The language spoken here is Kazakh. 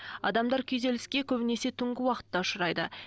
адамдар күйзеліске көбінесе түнгі уақытта ұшырайды